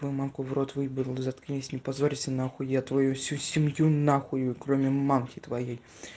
твою мамку в рот выебу заткнись не позорься нахуй я твою всю семью на хую кроме мамке твоей